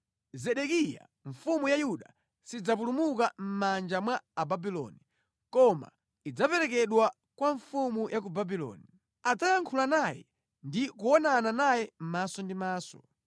Zedekiya mfumu ya Yuda sidzapulumuka mʼmanja mwa Ababuloni, koma idzaperekedwa kwa mfumu ya ku Babuloni. Adzayankhula naye ndi kuonana naye maso ndi maso.